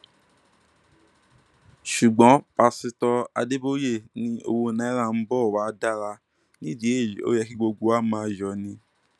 ṣùgbọn pásítọ adébòye ni owó náírà ń bọ wàá dára nídìí èyí ó yẹ kí gbogbo wa máa yọ ni